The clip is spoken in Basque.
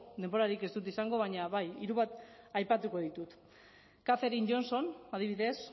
denborarik ez dut izango baina hiru bat aipatuko ditut kathering johnson adibidez